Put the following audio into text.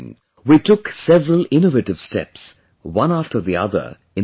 We took several innovative steps, one after the other in the Gir